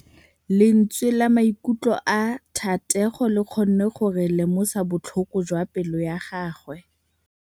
Lentswe la maikutlo a Thategô le kgonne gore re lemosa botlhoko jwa pelô ya gagwe.